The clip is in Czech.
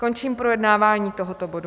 Končím projednávání tohoto bodu.